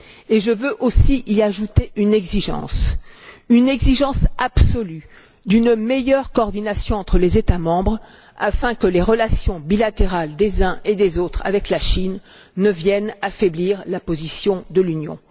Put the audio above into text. Et je veux aussi y ajouter une exigence, une exigence absolue, d'une meilleure coordination entre les États membres afin que les relations bilatérales des uns et des autres avec la Chine ne viennent pas affaiblir la position de l'Union.